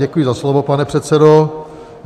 Děkuji za slovo, pane předsedo.